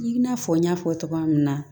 I n'a fɔ n y'a fɔ togoya min na